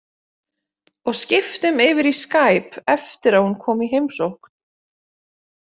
Og skiptum yfir í skæp eftir að hún kom í heimsókn.